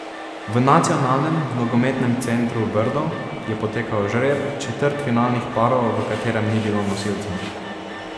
V Nacionalnem nogometnem centru Brdo je potekal žreb četrtfinalnih parov, v katerem ni bilo nosilcev.